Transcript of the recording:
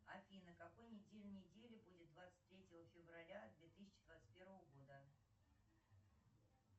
афина какой день недели будет двадцать третьего февраля две тысячи двадцать первого года